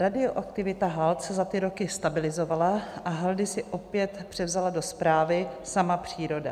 Radioaktivita hald se za ty roky stabilizovala a haldy si opět převzala do správy sama příroda.